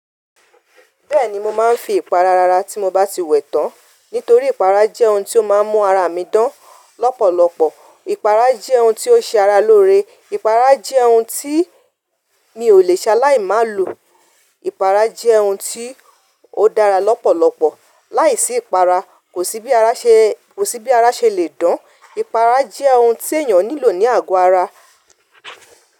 Bẹ́ẹ̀ni, mo máa ń fi ìpara rara tí mo bá ti wẹ̀ tán. Nítorí ìpara jẹ́ ohun tí ó máa ń mú ara mi dán lọ́pọ̀lọpọ̀. Ìpara jẹ́ ohun tí ó ṣe ara lóore. Ìpara jẹ́ ohun tí mi ò lè ṣe láì má lo. Ìpara jẹ́ ohun tí ó dára lọ́pọ̀lọpọ̀. Láìsí ìpara, kò sí bí ara ṣe le dán. Ìpara jẹ́ ohun tí èèyàn nílò ní àgọ́ ara.